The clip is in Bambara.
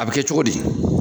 A bɛ kɛ cogo di?